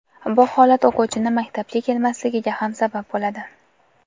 Bu holat o‘quvchini maktabga kelmasligiga ham sabab bo‘ladi.